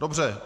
Dobře.